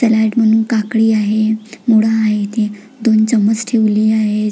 Salad मु काकडी आहे मुगडाळ आहे ती दोन चमच ठेवली आहे.